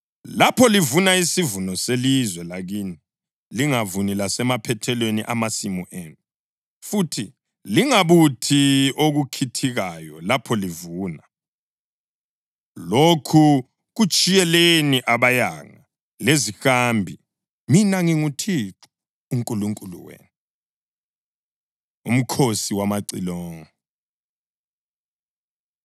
Lapho livuna isivuno selizwe lakini, lingavuni lasemaphethelweni amasimu enu, futhi lingabuthi okukhithikayo lapho livuna. Lokhu kutshiyeleni abayanga lezihambi. Mina nginguThixo uNkulunkulu wenu.’ ” UMkhosi WamaCilongo